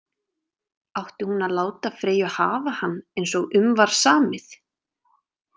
Átti hún að láta Freyju hafa hann eins og um var samið?